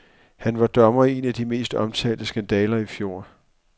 Han var dommer i en af de mest omtalte skandaler i fjor.